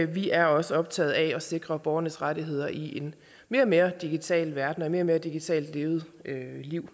vi er også optaget af at sikre borgernes rettigheder i en mere og mere digital verden og et mere og mere digitalt levet liv